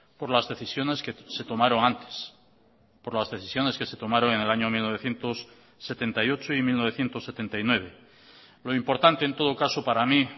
por las decisiones que se tomaron antes por las decisiones que se tomaron en el año mil novecientos setenta y ocho y mil novecientos setenta y nueve lo importante en todo caso para mí